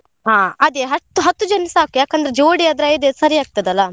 ಹಾ ಅದೇ ಹತ್ತ್~ ಹತ್ತು ಜನ ಸಾಕ್ ಯಾಕಂದ್ರೆ ಜೋಡಿ ಆದ್ರೆ ಐದ್ ಐದ್ ಸರಿ ಆಗ್ತದಲ್ಲ.